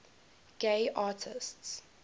gay artists